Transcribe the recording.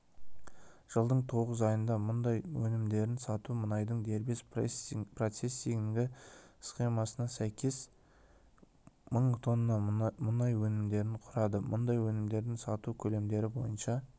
жылдың тоғыз айында мұнай өнімдерін сату мұнайдың дербес процессингі схемасына сәйкес мың тонна мұнай өнімдерін құрады мұнай өнімдерін сату көлемдері бойынша